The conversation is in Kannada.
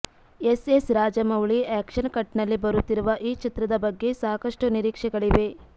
S S Rajamouli action cut ನಲ್ಲಿ ಬರುತ್ತಿರುವ ಈ ಚಿತ್ರದ ಬಗ್ಗೆ ಸಾಕಷ್ಟು ನಿರೀಕ್ಷೆಗಳಿವೆ